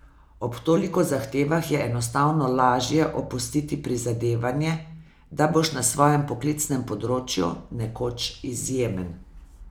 Ob toliko zahtevah je enostavno lažje opustiti prizadevanje, da boš na svojem poklicnem področju nekoč izjemen.